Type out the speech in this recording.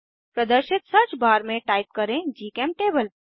प्रदर्शित search bar में type करें जीचेमटेबल